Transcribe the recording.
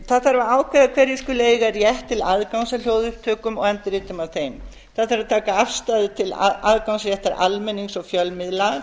það þarf að ákveða hverjir skuli eiga rétt til aðgangs að hljóðupptökum og endurritum af þeim það þarf að taka afstöðu til aðgangsréttar almennings og fjölmiðla